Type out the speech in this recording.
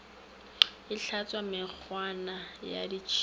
e hlaswa mekgwana ya ditšhila